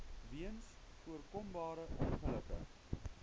weens voorkombare ongelukke